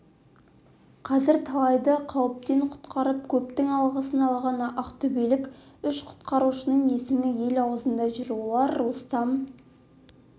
қазір талайды қауіптен құтқарып көптің алғысын алған ақтөбелік үш құтқарушының есімі ел аузында жүр олар рустам